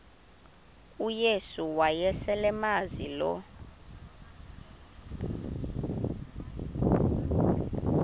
uyesu wayeselemazi lo